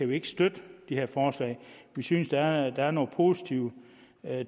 vi ikke støtte de her forslag vi synes der er nogle positive